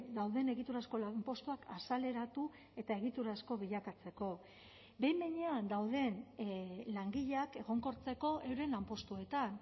dauden egiturazko lanpostuak azaleratu eta egiturazko bilakatzeko behin behinean dauden langileak egonkortzeko euren lanpostuetan